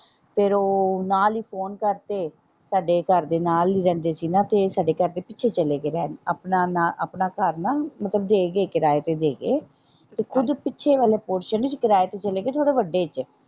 ਫੇਰ ਉਹ ਨਾਲ ਈ ਫੋਨ ਕਰਤੇ ਸਾਡੇ ਘਰ ਦੇ ਨਾਲ ਈ ਰਹਿੰਦੇ ਸੀ ਨਾ ਤੇ ਸਾਡੇ ਘਰ ਦੇ ਪਿੱਛੇ ਚਲੇ ਗਏ ਰਹਿਣ ਆਪਣਾ ਨਾ ਆਪਣਾ ਘਰ ਨਾ ਮਤਲਬ ਦੇ ਗਏ ਕਿਰਾਏ ਤੇ ਦੇ ਗਏ ਤੇ ਕੁਛ ਪਿੱਛੇ ਵਾਲਾ ਪੋਰਸ਼ਨ ਨਹੀਂ ਕਿਰਾਏ ਤੇ ਚਲੇ ਗਏ ਥੋੜੇ ਵੱਡੇ ਚ।